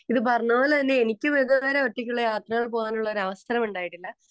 Speaker 2 ഇതു പറഞ്ഞപോലെ തന്നെ എനിക്കും ഇതുവരെ ഒറ്റയ്ക്ക് യാത്ര പോകാനുള്ള ഒരവസരം ഉണ്ടായിട്ടില്ല.